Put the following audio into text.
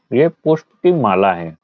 ये पुष्प की माला है।